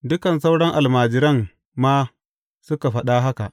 Dukan sauran almajiran ma suka faɗa haka.